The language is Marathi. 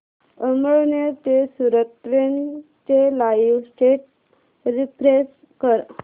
अमळनेर ते सूरत ट्रेन चे लाईव स्टेटस रीफ्रेश कर